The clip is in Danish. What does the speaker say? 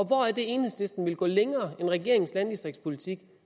hvor er det enhedslisten vil gå længere i regeringens landdistriktspolitik